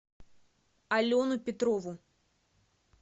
алену петрову